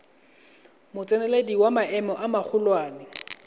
motseneledi wa maemo a magolwane